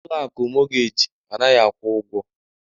Ụlọ akụ mọgej anaghị akwụ ụgwọ